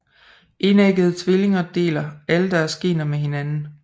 Enæggede tvillinger deler alle deres gener med hinanden